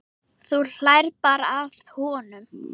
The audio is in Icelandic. Þú hlærð bara að honum.